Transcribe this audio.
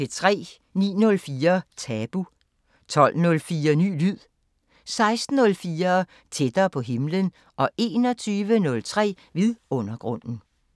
09:04: Tabu 12:04: Ny lyd 16:04: Tættere på himlen 21:03: Vidundergrunden